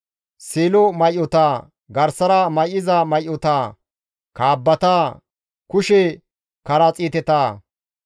seelo may7ota, garsara may7iza may7ota, kaabbata, kushe karaxiiteta,